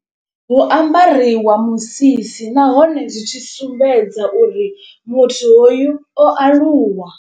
Hu ambariwa musisi nahone zwi tshi sumbedza uri muthu hoyu o aluwa.